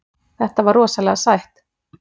Þetta var rosalega sætt.